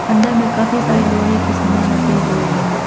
अंदर में काफी सारे लोहे की सामान रखे हुए हैं।